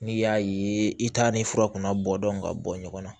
N'i y'a ye i t'a ni fura kunna bɔ dɔn ka bɔ ɲɔgɔn na